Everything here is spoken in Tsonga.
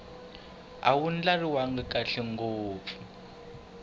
a wu ndlariwangi kahle ngopfu